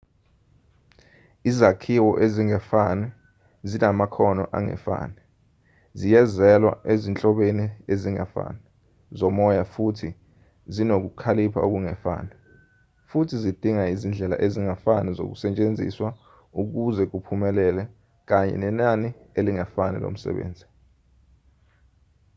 izakhiwo ezingefani zinamakhono angefani ziyezwela ezinhlobeni ezingefani zomoya futhi zinokukhalipha okungefani futhi zidinga izindlela ezingefani zokusetshenziswa ukuze kuphumelele kanye nenani elingefani lomsebenzi